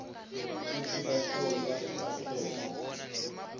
kutsi bahlolwa bakhetse